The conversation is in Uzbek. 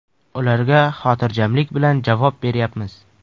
Ularga xotirjamlik bilan javob beryapmiz.